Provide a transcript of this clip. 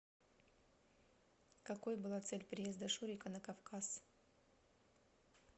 какой была цель приезда шурика на кавказ